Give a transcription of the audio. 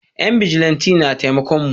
Yan bijilanti na taimakon mu